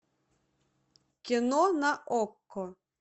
кино на окко